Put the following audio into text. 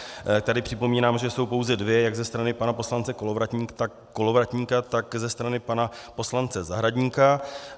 Tady připomínám, že jsou pouze dvě, jak ze strany pana poslance Kolovratníka, tak ze strany pana poslance Zahradníka.